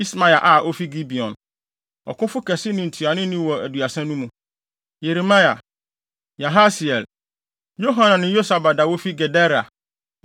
Ismaia a ofi Gibeon, ɔkofo kɛse ne ntuanoni wɔ Aduasa no mu; Yeremia, Yahasiel, Yohanan ne Yosabad a wofi Gedera;